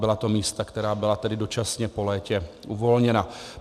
Byla to místa, která byla tedy dočasně po létě uvolněna.